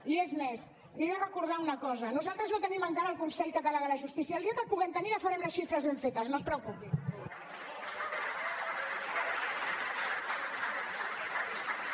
i és més li he de recordar una cosa nos·altres no tenim encara el consell català de la justícia el dia que el puguem tenir ja farem les xifres ben fetes no es preocupi